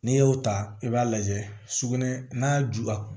N'i y'o ta i b'a lajɛ sugunɛ n'a juba